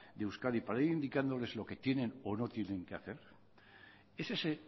de euskadi para ir indicando que es lo que tienen o no tienen que hacer es ese